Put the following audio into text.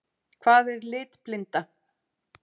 Hvað er litblinda?